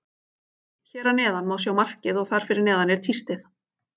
Hér að neðan má sjá markið og þar fyrir neðan er tístið.